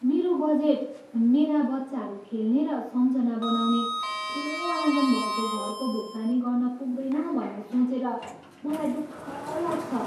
मेरो बजेट मेरा बच्चाहरू खेल्ने र सम्झना बनाउने ठुलो आँगन भएको घरको भुक्तानी गर्न पुग्दैन भन्ने सोचेर मलाई दुःख लाग्छ।